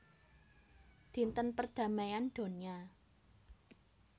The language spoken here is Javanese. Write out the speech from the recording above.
Dinten perdamaian donya